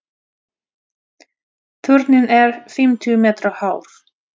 Turninn er fimmtíu metra hár.